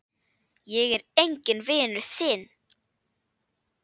Ég er enginn vinur þinn!